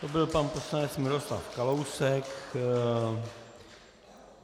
To byl pan poslanec Miroslav Kalousek.